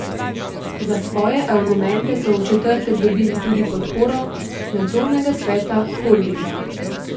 Za svoje argumente so v četrtek dobili tudi podporo nadzornega sveta holdinga.